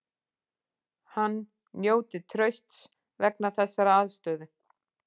Hann njóti trausts vegna þessarar afstöðu